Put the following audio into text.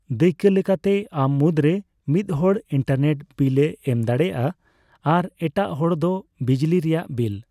ᱫᱟᱭᱠᱟᱹ ᱞᱮᱠᱟᱛᱮ, ᱟᱢ ᱢᱩᱫᱽ ᱨᱮ ᱢᱤᱫ ᱦᱚᱲ ᱤᱱᱴᱟᱨᱱᱮᱹᱴ ᱵᱤᱞᱼᱮ ᱮᱢ ᱫᱟᱲᱮᱹᱭᱟᱜᱼᱟ ᱟᱨ ᱮᱴᱟᱜ ᱦᱚᱲ ᱫᱚ ᱵᱤᱡᱽᱞᱤ ᱨᱮᱭᱟᱜ ᱵᱤᱞ ᱾